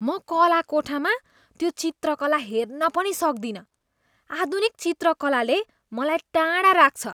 म कला कोठामा त्यो चित्रकला हेर्न पनि सक्दिनँ, आधुनिक चिकलाले मलाई टाढा राख्छ।